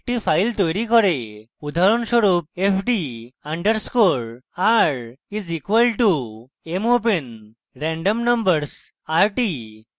উদাহরণস্বরূপ fd underscore r is equal to mopen randomnumbers rt